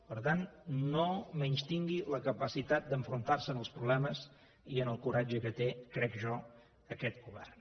per tant no menystingui la capacitat d’enfrontar se als problemes i el coratge que té crec jo aquest govern